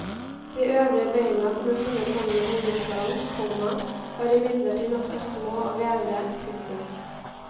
De øvrige beina som ble funnet sammen med hodeskallen, komma var imidlertid nokså små og vevre. punktum